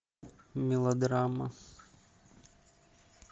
мелодрама